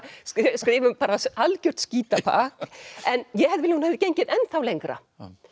skrifa um bara algjört skítapakk en ég hefði hún hefði gengið ennþá lengra